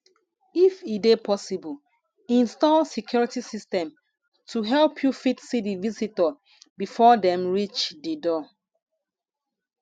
if e dey possible install security system to help you fit see di visitor before dem reach di door